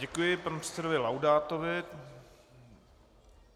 Děkuji panu předsedovi Laudátovi.